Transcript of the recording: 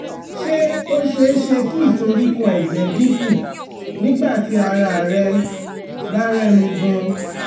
Fún àwọn èèyàn ní ìtọ́jú tó dáa fún ìdààmú ọkàn, ìdààmú ọkàn àti ìdààmú ọkàn